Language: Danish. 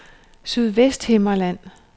Sydvesthimmerland